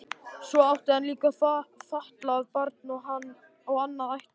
Svo átti hann líka fatlað barn og annað ættleitt.